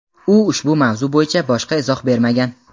U ushbu mavzu bo‘yicha boshqa izoh bermagan.